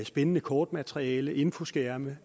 spændende kortmateriale infoskærme